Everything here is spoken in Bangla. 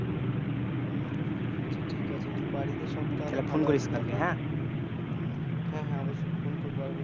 আচ্ছা ঠিক আছে নিয়ে বাড়িতে সব তাহলে phone করিস কালকে হ্যাঁ হ্যাঁ অবশই phone করবো